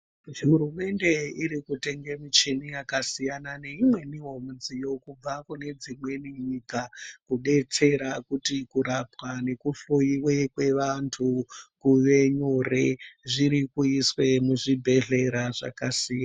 Hurumende irikutenga michini yakasiyana neimweniwo midziyo kubva kune dzimweni nyika kubetsera kuti kurapwa nekuhloyiwa kweantu kuve nyoro zvirikuizwe muzvibhedhlera zvakasiyana.